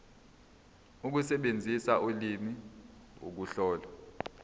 ukusebenzisa ulimi ukuhlola